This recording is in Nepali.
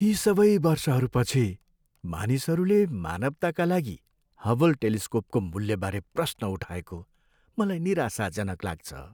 यी सबै वर्षहरूपछि, मानिसहरूले मानवताका लागि हबल टेलिस्कोपको मूल्यबारे प्रश्न उठाएको मलाई निराशाजनक लाग्छ।